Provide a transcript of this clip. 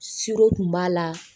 tun b'a la